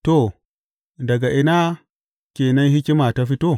To, daga ina ke nan hikima ta fito?